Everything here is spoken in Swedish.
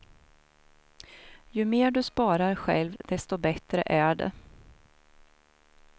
Ju mer du sparar själv desto bättre är det.